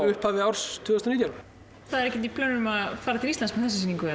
upphafi árs tvö þúsund og nítján það er ekkert í plönunum að fara með þessa sýningu